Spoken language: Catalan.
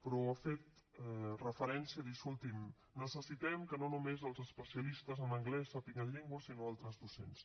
però ha fet referència de dir escolti’m necessitem que no només els especialistes en anglès sàpiguen llengües sinó altres docents